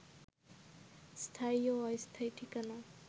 স্থায়ী ও অস্থায়ী ঠিকানা